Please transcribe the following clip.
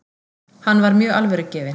Hann var mjög alvörugefinn.